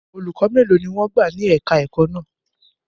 Olùkọ́ mélòó ni wọ́n gbà ní èka-ẹ̀kọ́ náà?